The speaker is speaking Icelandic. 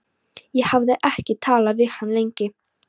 Ég hafði ekki talað við hann lengi.